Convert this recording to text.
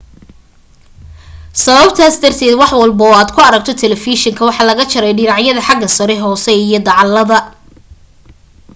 sababtaas darteed wax walba oo aad ku aragto talefishinka waxa laga jaray dhinacyada xagga sare hoose iyo dacallada